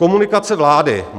Komunikace vlády.